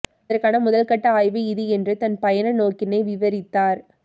அதற்கான முதல்கட்ட ஆய்வு இது என்று தன் பயண நோக்கினை விவரித்தார்